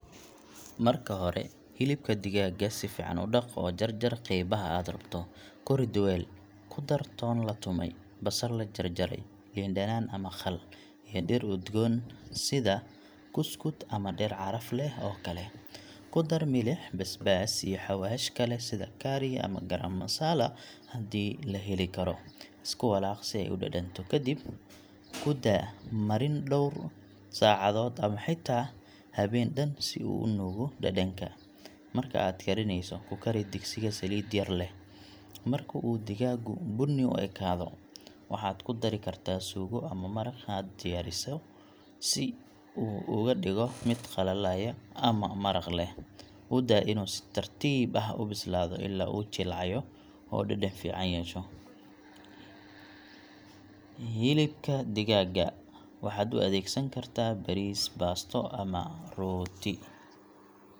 Marka hore, hilibka digaaga si fiican u dhaq oo jarjar qaybaha aad rabto. Ku rid weel, ku dar toon la tumay, basal la jarjaray, liin dhanaan ama khal, iyo dhir udgoon sida kuskud ama dhir caraf leh oo kale. Ku dar milix, basbaas, iyo xawaash kale sida curry ama garam masala haddii la heli karo. Isku walaaq si ay u dhadhanto. Kadib, ku daa marin dhowr saacadood ama xitaa habeen dhan si uu u nuugo dhadhanka. Marka aad karineyso, ku kari digsiga saliid yar leh. Marka uu digaagu bunni u ekaado, waxaad ku dari kartaa suugo ama maraq aad diyaariso si uu uga dhigo mid qalleeya ama maraq leh. U daa inuu si tartiib ah u bislaado ilaa uu jilcayo oo dhadhan fiican yeesho. Hilbika digaaga waxaad u adeegsan kartaa bariis, baasto, ama rooti.